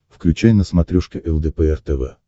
включай на смотрешке лдпр тв